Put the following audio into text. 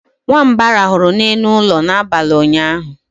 nwamba rahụrụ n'elu ụlọ n'abalị ụnyaahụ